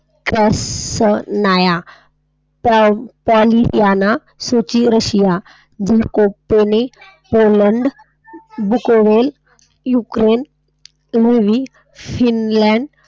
,,, Poland मधील , शिंलँड.